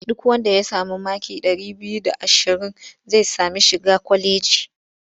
Duk wanda ya sami maki ɗari biyu da ashirin zai sami shiga kwalejin.